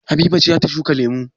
Habiba ce za ta shuka lemu?